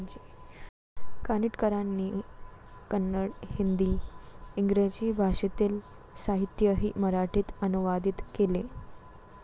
कानिटकरांनी कन्नड, हिंदी, इंग्रजी भाषेतील साहित्यही मराठीत अनुवादीत केले.